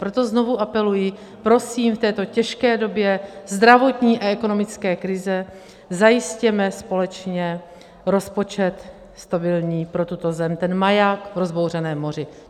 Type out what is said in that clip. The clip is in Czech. Proto znovu apeluji, prosím, v této těžké době zdravotní a ekonomické krize zajistěme společně rozpočet stabilní pro tuto zem, ten maják v rozbouřeném moři.